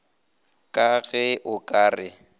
ka ge o ka re